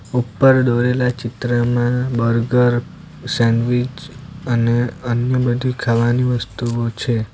ઉપર દોરેલા ચિત્રમાં બર્ગર સેન્ડવીચ અને અન્ય બધી ખાવાની વસ્તુઓ છે.